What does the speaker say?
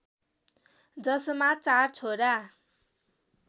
जसमा चार छोरा